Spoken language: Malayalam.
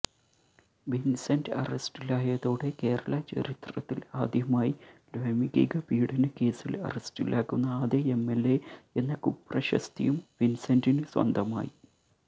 വിന്സെന്റ് അറസ്റ്റിലായതോടെ കേരള ചരിത്രത്തില് ആദ്യമായി ലൈംഗിക പീഡനക്കേസില് അറസ്റ്റിലാകുന്ന ആദ്യ എംഎല്എ എന്ന കുപ്രശസ്തിയും വിന്സെന്റിന് സ്വന്തമായി